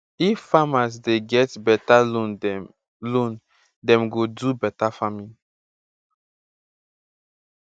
if farmers dey get beta loan dem loan dem go do beta farming